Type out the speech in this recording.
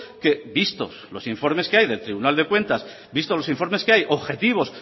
que vistos los informes que hay del tribunal de cuentas vistos los informes que hay objetivos